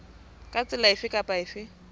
ka tsela efe kapa efe